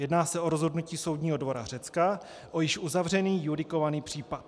Jedná se o rozhodnutí soudního dvora Řecka, o již uzavřený judikovaný případ.